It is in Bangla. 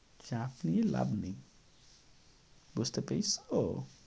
চাপ নিয়ে লাভ নেই। বুঝতে পেয়েছ?